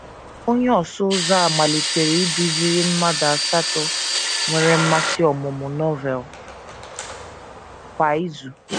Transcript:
Onye ọsụ ụzọ a malitere iduziri mmadụ asatọ nwere mmasị ọmụmụ Novel kwa izu.